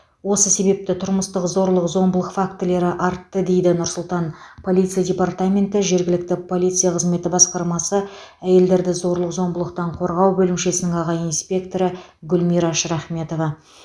осы себепті тұрмыстық зорлық зомбылық фактілері артты дейді нұр сұлтан полиция департаменті жергілікті полиция қызметі басқармасы әйелдерді зорлық зомбылықтан қорғау бөлімшесінің аға инспекторы гүлмира шрахметова